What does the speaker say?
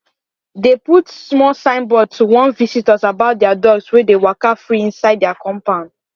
they put small signboard to warn visitors about their dogs wey dey waka free inside their compound